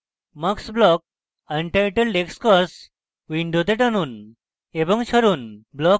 mux block untitled xcos window টানুন এবং ছাড়ুন